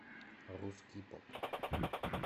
русский поп